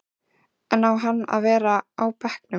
En á hann að vera á bekknum?